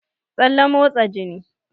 Tsalle motsa jini